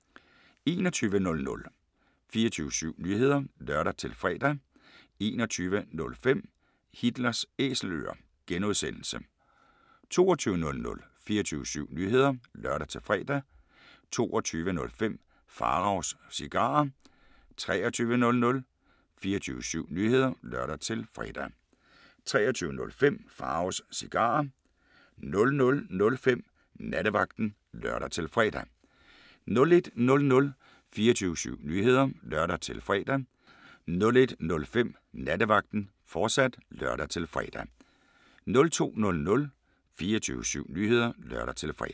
21:00: 24syv Nyheder (lør-fre) 21:05: Hitlers Æselører (G) 22:00: 24syv Nyheder (lør-fre) 22:05: Pharaos Cigarer 23:00: 24syv Nyheder (lør-fre) 23:05: Pharaos Cigarer 00:05: Nattevagten (lør-fre) 01:00: 24syv Nyheder (lør-fre) 01:05: Nattevagten, fortsat (lør-fre) 02:00: 24syv Nyheder (lør-fre)